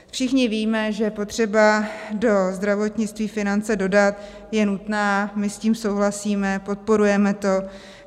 Všichni víme, že potřeba do zdravotnictví finance dodat je nutná, my s tím souhlasíme, podporujeme to.